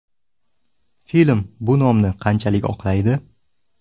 Film bu nomni qanchalik oqlaydi?